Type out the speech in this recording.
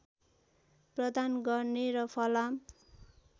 प्रदान गर्ने र फलाम